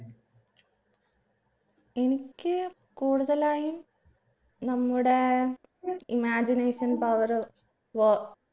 എനിക്ക് കൂടുതലായും നമ്മുടെ imagination power വോ